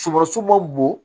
Sumasi ma bon